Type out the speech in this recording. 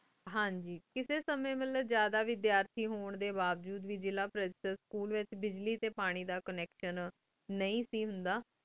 ਹਨ ਜੀ ਕਿਸੀ ਸੰਯੰ ਵਾਲੀ ਜਾਦਾ ਵੇਰ੍ਥ੍ਤੀ ਹੁਣ ਡੀ ਬਾਵਜੂਦ ਵੇ ਜਾਲਾ ਪਾਰੇਸ੍ਤੇਟ ਸਕੂਲ ਵੇਚ ਬਜ੍ਲੀ ਟੀ ਪਾਣੀ ਦਾ ਕੋਨ੍ਨੇਕ੍ਤਿਓਂ ਨੀ ਸੇ ਹੁੰਦਾ